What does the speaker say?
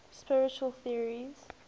spiritual theories